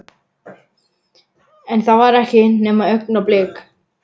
En það var ekki nema augnablik.